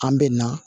An bɛ na